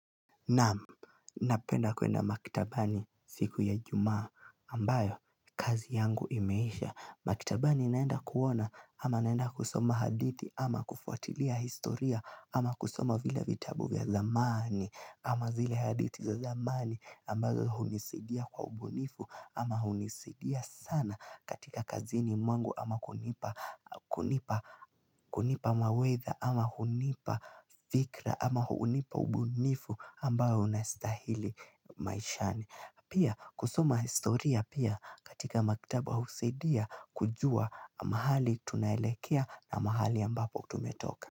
Na'am, napenda kwenda maktabani siku ya ijumaa ambayo kazi yangu imeisha. Maktabani naenda kuona ama naenda kusoma hadithi ama kufuatilia historia ama kusoma vile vitabu vya zamani, ama zile hadithi za zamani ambazo hunisidia kwa ubunifu ama hunisidia sana katika kazini mwangu ama kunipa kunipa mawaidha, ama hunipa fikra, ama hunipa ubunifu ambao unastahili maishani. Pia kusoma historia pia katika maktaba husaidia kujua mahali tunaelekea na mahali ambapo tumetoka.